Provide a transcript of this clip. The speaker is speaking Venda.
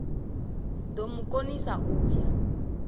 do mu konisa u ya